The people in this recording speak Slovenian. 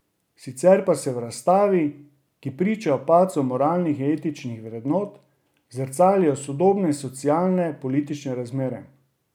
Sicer pa se v razstavi, ki priča o padcu moralnih in etičnih vrednot, zrcalijo sodobne socialne in politične razmere.